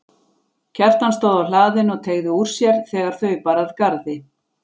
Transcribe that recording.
Kjartan stóð á hlaðinu og teygði úr sér þegar þau bar að garði.